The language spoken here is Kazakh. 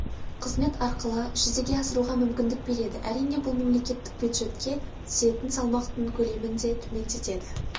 қызмет арқылы жүзеге асыруға мүмкіндік береді әрине бұл мемлекеттік бюджетке түсетін салмақтың көлемін де төмендетеді